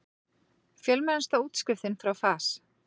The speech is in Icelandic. Fjölmennasta útskriftin frá FAS